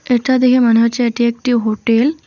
এটা দেখে মনে হচ্ছে এটি একটি হোটেল ।